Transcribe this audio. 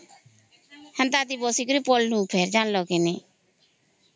ହେନ୍ତା ଆମେ ବସିକରି ପଡ଼ିଲୁ ଜାଣିଲା କି ନାହିଁ